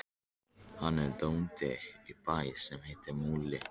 Hann er bóndi á bæ sem heitir Múli.